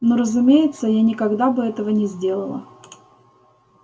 ну разумеется я никогда бы этого не сделала